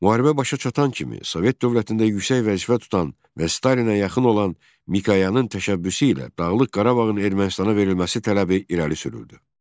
Müharibə başa çatan kimi Sovet dövlətində yüksək vəzifə tutan və Stalinə yaxın olan Mikoyanın təşəbbüsü ilə Dağlıq Qarabağın Ermənistana verilməsi tələbi irəli sürüldü.